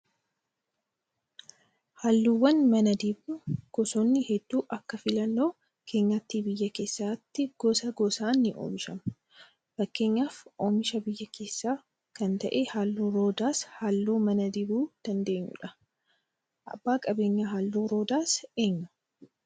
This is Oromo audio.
Halluuwwan mana dibnu gosoonni hedduun akka filannoo keenyaatti biyya keessatti gosa gosaan ni oomishamu. Fakkeenyaaf oomisha biyya keessaa kan ta'e halluun roodaas halluu mana dibuu dandeenyudha. Abbaan qabeenyaa halluu roodaas eenyu?